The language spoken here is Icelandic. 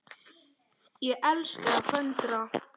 Ég elska að föndra.